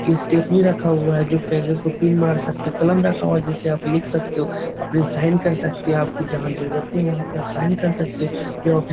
stapler रखा हुआ है जो कागज़ को पिन मार सकते हो कलम रखा हुआ है जिस से आप लिख सकते हो अपने साइन कर सकतें हो आपकी जहाँ जरूरते है वहॉँ पे आप साइन कर सकते हो ये ओफिस --